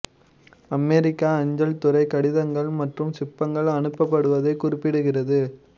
அமெரிக்க அஞ்சல் துறை கடிதங்கள் மற்றும் சிப்பங்கள் அனுப்பப்படுவதைக் குறிப்பிடுகிறது